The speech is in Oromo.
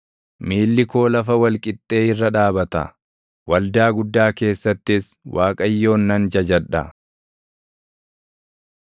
Miilli koo lafa wal qixxee irra dhaabata; waldaa guddaa keessattis Waaqayyoon nan jajadha.